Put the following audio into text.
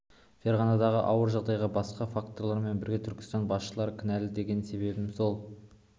ферғанадағы ауыр жағдайға басқа факторлармен бірге түркістан басшылары кінәлі деген себебім сол